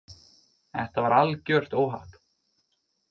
Þetta var algjört óhapp.